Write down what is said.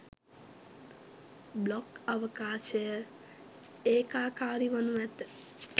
blog අවකාශය ඒකාකාරී වනු ඇත